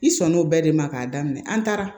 I sɔn n'o bɛɛ de ma k'a daminɛ an taara